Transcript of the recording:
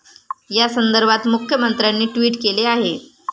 य़ा संदर्भात मुख्यमंत्र्यांनी ट्विट केले आहे.